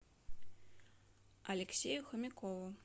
алексею хомякову